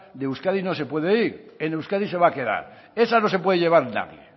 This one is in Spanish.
de euskadi no se puede ir en euskadi se va a quedar esa no se puede llevar nadie